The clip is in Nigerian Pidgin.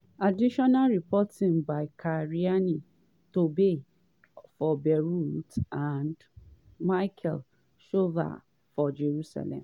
additional reporting by carine torbey for beirut and michael shuval for jerusalem